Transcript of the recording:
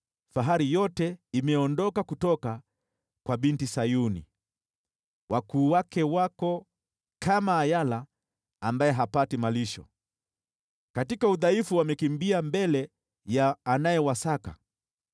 Fahari yote imeondoka kutoka kwa Binti Sayuni. Wakuu wake wako kama ayala ambaye hapati malisho, katika udhaifu wamekimbia mbele ya anayewasaka.